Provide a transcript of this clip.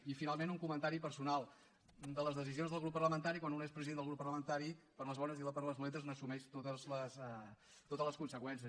i finalment un comentari personal de les decisions del grup parlamentari quan un és president del grup parlamentari per a les bones i per a les dolentes n’assumeix totes les conseqüències